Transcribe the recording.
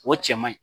O cɛ man ɲi